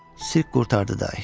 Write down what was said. Sirk qurtardı day.